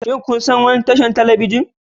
Shin kun san wani tashar talabijin?